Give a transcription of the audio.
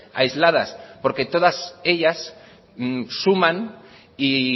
aisladas porque todas ellas suman y